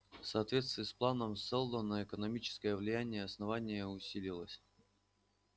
в соответствии с планом сэлдона экономическое влияние основания усиливалось